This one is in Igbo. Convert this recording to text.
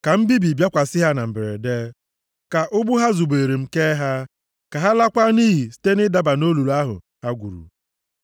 Ka mbibi bịakwasị ha na mberede, ka ụgbụ ha zobeere m kee ha; ka ha lakwaa nʼiyi site nʼidaba nʼolulu ahụ ha gwuru.